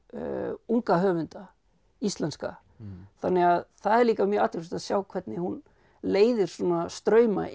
unga höfunda íslenska þannig að það er líka mjög athyglisvert að sjá hvernig hún leiðir svona strauma inn